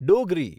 Dogri